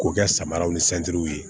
K'o kɛ samaraw ni w ye